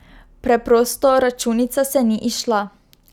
Preprosto, računica se ni izšla.